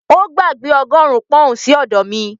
Ó gbàgbé ọgọ́rùn-ún pọ́n-ọ̀n sí ọ̀dọ̀ mi